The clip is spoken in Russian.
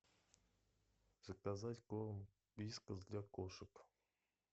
заказать корм вискас для кошек